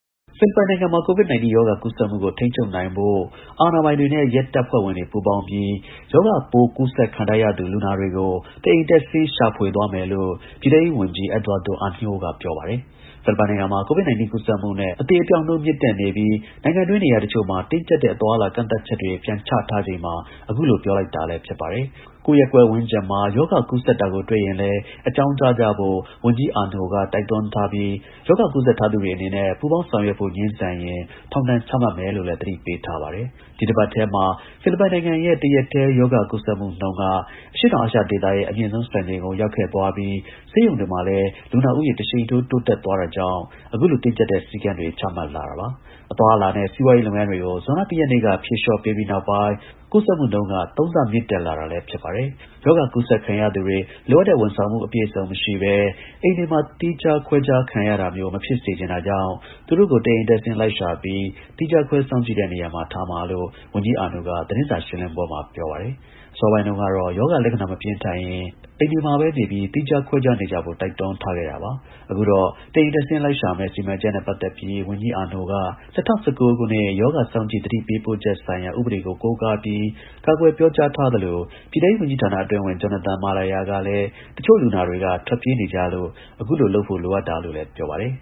ဖိလစ်ပိုင်နိုင်ငံမှာ COVID-19 ရောဂါကူးစက်မှုကို ထိန်းချုပ်နိုင်ဖို့ အာဏာပိုင်တွေ နဲ့ ရဲတပ်ဖွဲ့ဝင်တွေပူးပေါင်းပြီး ရောဂါ ပိုးကူးစက်ခံထားရသူ လူနာတွေကို တအိမ်တက်ဆင်းရှာဖွေသွားမယ်လို့ ပြည်ထဲရေး ဝန်ကြီး EDUARDO AÑO က ပြောပါတယ်။ ဖိလစ်ပိုင်နိုင်ငံမှာ COVID-19 ကူးစက်မှုနဲ့ အသေအပျောက်နှုန်းမြင့်တက်နေပြီးနိုင်ငံတွင်း နေရာတချို့မှာ တင်းကြပ်တဲ့ အသွား အလာ ကန့်သတ်ချက်တွေ ပြန်ချထားချိန်မှာ အခုလို ပြောလိုက်တာလည်း ဖြစ်ပါတယ်။ ကိုယ့်ရပ်ကွက်ဝန်းကျင်မှာ ရောဂါကူးစက်တာကိုတွေ့ရင်လည်း အကြောင်းကြားကြဖို့ ဝန်ကြီး EDUARDO AÑO က တိုက်တွန်းထား ပြီး ရောဂါကူးစက်ထားသူတွေအနေနဲ့ ပူးပေါင်းဆောင်ရွက်ဖို့ ငြင်းဆန်ရင် ထောင်ဒဏ်ချမှတ်မယ်လို့လည်း သတိပေးထားပါတယ်။ ဒီတပတ်ထဲမှာဖိလစ်ပိုင်ရဲ့ တရက်တည်း ရောဂါကူးစက်နှုန်းက အရှေ့တောင်အာရှဒေသရဲ့ အမြင့်ဆုံးစံချိန်ကို ရောက်ခဲ့သွားပြီး ဆေးရုံ တွေမှာလည်း လူနာဦးရေ တရှိန်ထိုး တိုးတက်သွားတာကြောင့် အခုလိုတင်းကြပ်တဲ့ စည်းကမ်းတွေချမှတ်လာတာပါ။ အသွားအလာနဲ့ စီးပွါးရေးလုပ်ငန်း တွေကို ဇွန်လ ၁ ရက်နေ့က ဖြေလျေှ ာ့ပေးပြီးနောက်ပိုင်း ကူးစက်နှုန်းက ၃ ဆ မြင့်တက်လာတာလည်း ဖြစ်ပါတယ်။ ရောဂါကူးစက်ခံရသူတွေ လိုအပ်တဲ့ ဝန်ဆောင်မှု အပြည့်အစုံမရှိဘဲ အိမ်တွေမှာ သီးခြားခွဲရတာမျိုး မဖြစ်စေချင်တာကြောင့်သူတို့ကို တအိမ်တက်ဆင်းလိုက်ရှာပြီး သီးခြားခွဲစောင့်ကြည့်တဲ့နေရာတွေမှာ ထားမှာလို့ ဝန်ကြီး AÑO က သတင်းစာရှင်းလင်းပွဲမှာ ပြောပါတယ်။ အစောပိုင်းတုန်းကတော့ ရောဂါလက္ခဏာမပြင်းထန်ရင် အိမ်တွေမှာပဲနေပြီး သီးခြားခွဲနေကြဖို့ တိုက်တွန်းထားခဲ့တာပါ။ အခုတော့ တအိမ်တက်ဆင်းလိုက်ရှာမယ့်စီမံချက်နဲ့ ပတ်သက်ပြီး ဝန်ကြီး AÑO က ၂၀၁၉ ရောဂါ စောင့်ကြည့် သတင်းပေးပို့ချက်ဆိုင်ရာ ဉပဒေကို ကိုးကားပြီး ကာကွယ်ပြောကြားသလို ပြည်ထဲရေးဝန်ကြီးဌာန အတွင်းဝန် JONATHAN MALAYA ကလည်း တချို့လူနာတွေက ထွက်ပြေးနေကြလို့ အခုလို လုပ်ဖို့လိုအပ်တာလို့လည်း ပြောပါတယ်